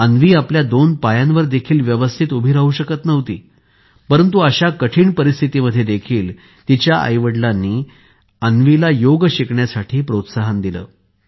अन्वी आपल्या दोन पायांवर देखील व्यवस्थित उभी राहू शकत नव्हती परंतु अशा कठीण परिस्थितीमध्ये देखील तिच्या आईवडिलांनी अन्वीला योग शिकण्यासाठी प्रोत्साहन दिले